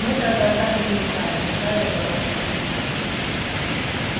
мы тогда так и не узнали какая была беда